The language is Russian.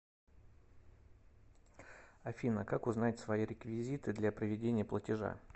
афина как узнать свои реквизиты для проведения платежа